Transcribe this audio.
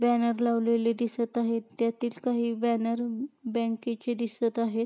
Banner लावलेले दिसत आहेत त्यातील काही बॅनर बँकेचे दिसत आहेत.